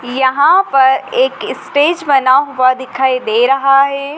यहां पर एक स्टेज बना हुआ दिखाई दे रहा है।